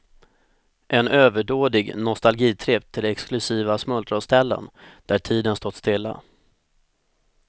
En överdådig nostalgitripp till exklusiva smultronställen, där tiden stått stilla.